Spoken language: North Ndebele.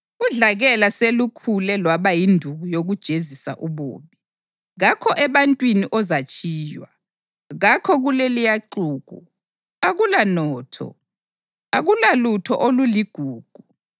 Udlakela selukhule lwaba yinduku yokujezisa ububi; kakho ebantwini ozatshiywa; kakho kuleliya xuku, akula notho, akulalutho oluligugu.